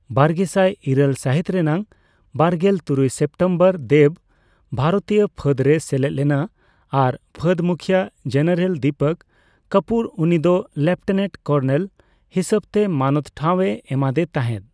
ᱵᱟᱨᱜᱮᱥᱟᱭ ᱤᱨᱟᱹᱞ ᱥᱟᱹᱦᱤᱛ ᱨᱮᱱᱟᱜ ᱵᱟᱨᱜᱮᱞ ᱛᱩᱨᱩᱭ ᱥᱮᱯᱴᱮᱢᱵᱚᱨ ᱫᱮᱵᱽ ᱵᱷᱟᱨᱚᱛᱤᱭᱚ ᱯᱷᱟᱹᱫᱽ ᱨᱮᱭ ᱥᱮᱞᱮᱫ ᱞᱮᱱᱟ ᱟᱨ ᱯᱷᱟᱹᱫᱽ ᱢᱩᱠᱷᱤᱭᱟᱹ ᱡᱮᱱᱟᱨᱮᱞ ᱫᱤᱯᱚᱠ ᱠᱟᱯᱩᱨ ᱩᱱᱤᱫᱚ ᱞᱮᱯᱴᱮᱱᱮᱴ ᱠᱚᱨᱱᱮᱞ ᱦᱤᱥᱟᱹᱵᱽᱛᱮ ᱢᱟᱱᱚᱛ ᱴᱷᱟᱣ ᱮ ᱮᱢᱟᱫᱮ ᱛᱟᱦᱮᱫ ᱾